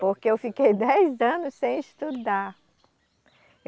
Porque eu fiquei dez anos sem estudar.